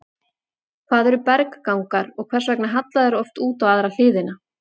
Hvað eru berggangar og hvers vegna halla þeir oft út á aðra hliðina?